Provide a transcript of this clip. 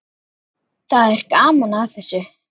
Það er gaman að þessu.